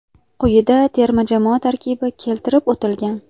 Quyida terma jamoa tarkibi keltirib o‘tilgan.